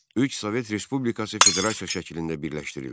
Üç Sovet Respublikası federasiya şəklində birləşdirildi.